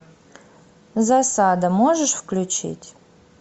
засада можешь включить